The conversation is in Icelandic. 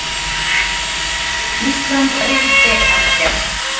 Ísland reyndi ekkert.